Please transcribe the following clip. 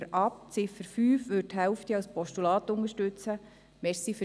Die Ziffer 4 lehnen wir ab.